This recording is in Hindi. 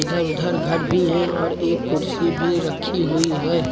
इधर उधर घर भी हैं और एक कुर्सी भी रखी हुई है।